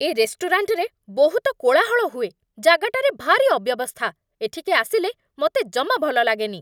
ଏ ରେଷ୍ଟୁରାଣ୍ଟରେ ବହୁତ କୋଳାହଳ ହୁଏ, ଜାଗାଟାରେ ଭାରି ଅବ୍ୟବସ୍ଥା, ଏଠିକି ଆସିଲେ ମତେ ଜମା ଭଲ ଲାଗେନି ।